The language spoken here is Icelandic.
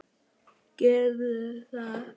Gerðu það